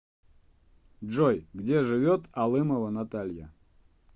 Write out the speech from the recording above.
джой где живет алымова наталья